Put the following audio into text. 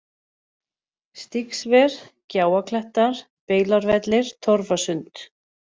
Stígsver, Gjáaklettar, Beilárvellir, Torfasund